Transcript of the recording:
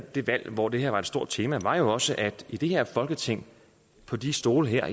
det valg hvor det her var et stort tema var jo også at i det her folketing på de stole her